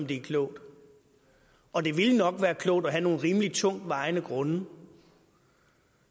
det er klogt og det ville nok være klogt at have nogle rimelig tungtvejende grunde